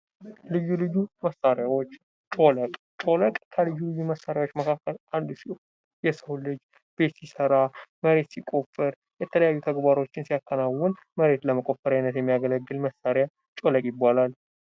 ልዩ ልዩ መሣሪያዎች ልዩ ጮለቅ ልዩ መሣሪያዎች ውስጥ አንዱ ሲሆን የሰው ልጅ ቤት ሲሰራ መሬት ሲቆርፍር የተለያዩ ተግባሮችን ሲያከናውን መሬት ለመቆፈርያነት የሚያገለግል መሳሪያ ጮለቅ ይባላል